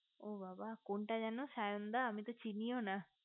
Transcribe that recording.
ও বাবা কোনটা যেন সায়ন দা আমি তো চিনিও না